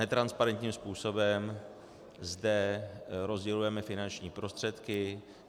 Netransparentním způsobem zde rozdělujeme finanční prostředky.